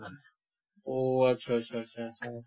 অহ আচ্ছা আচ্ছা আচ্ছা আচ্ছা